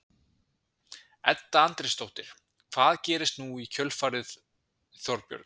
Edda Andrésdóttir: Hvað gerist nú í kjölfarið Þorbjörn?